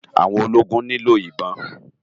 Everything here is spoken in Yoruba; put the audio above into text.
Áwòn ólógún ni ló ibòn